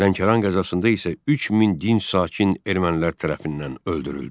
Lənkəran qəzasında isə 3000 dinc sakin ermənilər tərəfindən öldürüldü.